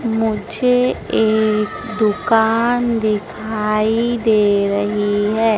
मुझे एक दुकान दिखाई दे रही हैं।